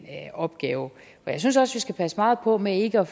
opgave for jeg synes også vi skal passe meget på med ikke at